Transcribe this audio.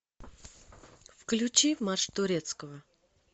включи марш турецкого